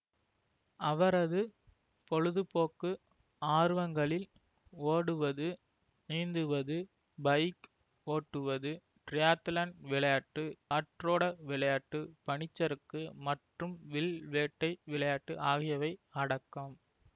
அவரது பொழுதுபோக்கு ஆர்வங்களில் ஓடுவது நீந்துவது பைக் ஓட்டுவது டிரையத்லான் விளையாட்டு காற்றோட விளையாட்டு பனிச்சறுக்கு மற்றும் வில் வேட்டை விளையாட்டு ஆகியவை அடக்கம்